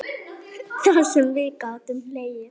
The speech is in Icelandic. Vertu kært kvödd.